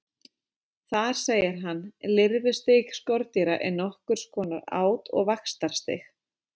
Þar segir hann: Lirfustig skordýra er nokkurs konar át- og vaxtarstig.